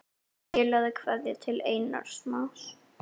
Skilaðu kveðju til Einars Más.